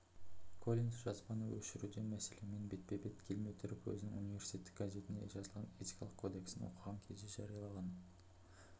коллинс жазбаны өшіру деген мәселемен бетпе-бет келмей тұрып өзінің университеттік газетінде жазылған этикалық кодексін оқыған кезде жарияланған